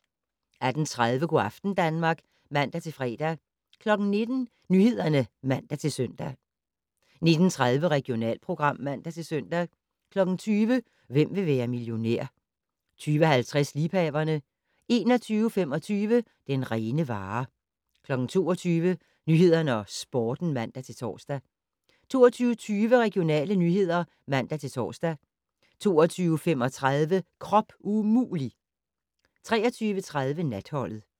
18:30: Go' aften Danmark (man-fre) 19:00: Nyhederne (man-søn) 19:30: Regionalprogram (man-søn) 20:00: Hvem vil være millionær? 20:50: Liebhaverne 21:25: Den rene vare 22:00: Nyhederne og Sporten (man-tor) 22:20: Regionale nyheder (man-tor) 22:35: Krop umulig! 23:30: Natholdet